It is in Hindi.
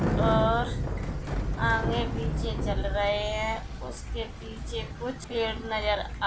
ओओर अँगे पीछे चल रहे है उसके पीछे कुछ नजर आ--